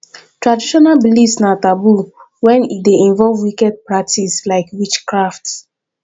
traditional beliefs na taboo when e de involve wicked practice like witchcraft